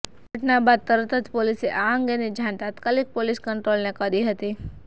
ઘટના બાદ તરત જ પોલીસે આ અંગેની જાણ તાત્કાલિક પોલીસ કંટ્રોલને કરી હતી